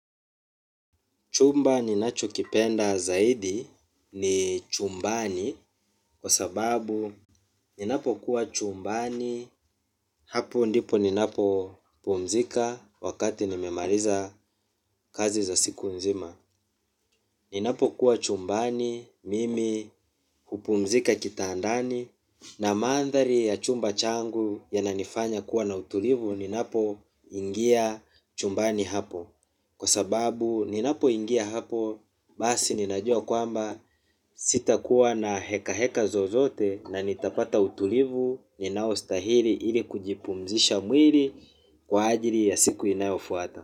Chumba ninacho kipenda zaidi ni chumbani kwa sababu ninapo kuwa chumbani hapo ndipo ninapo pumzika wakati nimemaliza kazi za siku nzima. Ninapo kuwa chumbani mimi hupumzika kitandani na mandhari ya chumba changu yana nifanya kuwa na utulivu ninapo ingia chumbani hapo. Kwa sababu ninapo ingia hapo basi ninajua kwamba sita kuwa na heka heka zozote, na nitapata utulivu ninao stahili ili kujipumzisha mwili. Kwa ajili ya siku inayofuata.